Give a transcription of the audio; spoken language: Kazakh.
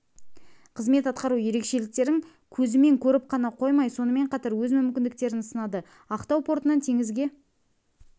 қызмет атқару ерекшіліктерін көзімен көріп қана қоймай сонымен қатар өз мүмкіндіктерін сынады ақтау портынан теңізге